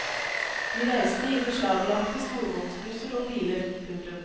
De reiste i beslaglagte sporvognsbusser og biler. punktum